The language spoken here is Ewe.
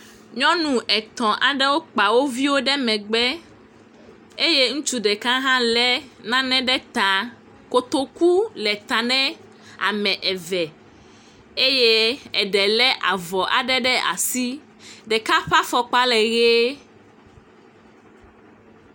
Nyɔnu etɔ̃ aɖewo kpa wo viwo ɖe megbe eye ŋutsu ɖeka hã le nane ɖe ta. Kotoku le ta ne ame eve eye eɖe le avɔ aɖe ɖe asi. Ɖeka ƒe afɔkpa le ʋie.